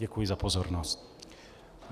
Děkuji za pozornost.